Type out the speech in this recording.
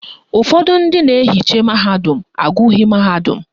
Ụfọdụ ndị na-ehicha mahadum agụghị mahadum